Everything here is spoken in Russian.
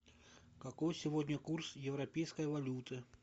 какой сегодня курс европейской валюты